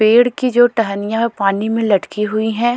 पेड़ की जो टहनियां है पानी में लटकी हुई है।